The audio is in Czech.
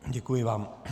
Děkuji vám.